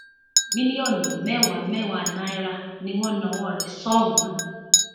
mílíọnù mẹwàá mẹwàá náírà ni wọn nawọ rẹ sóun náà